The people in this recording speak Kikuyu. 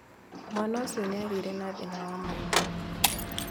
Mwaana ũcio nĩ aagĩire na thĩna wa maitho.